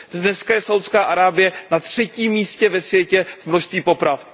Dnes je Saúdská Arábie na třetím místě ve světě v množství poprav.